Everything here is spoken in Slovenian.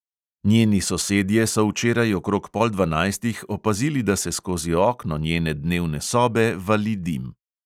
Njeni sosedje so včeraj okrog pol dvanajstih opazili, da se skozi okno njene dnevne sobe vali dim.